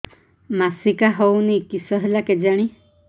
ମାସିକା ହଉନି କିଶ ହେଲା କେଜାଣି